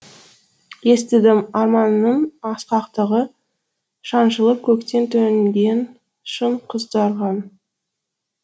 естідім арманыңның асқақтығын шаншылып көктен төнген шың құздарға